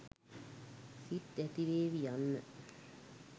සිත් ඇතිවේවි යන්න